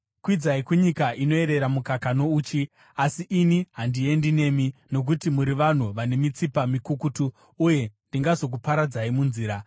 Kwidzai kunyika inoyerera mukaka nouchi. Asi ini handiendi nemi, nokuti muri vanhu vane mitsipa mikukutu uye ndingazokuparadzai munzira.”